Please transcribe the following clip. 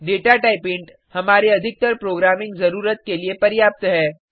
data type int हमारे अधिकतर programming जरुरत के लिए पर्याप्त है